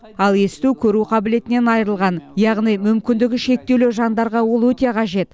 ал есту көру қабілетінен айырылған яғни мүмкіндігі шектеулі жандарға ол өте қажет